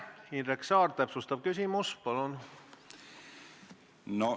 Indrek Saar, täpsustav küsimus, palun!